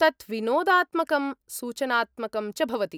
तत् विनोदात्मकं, सूचनात्मकं च भवति।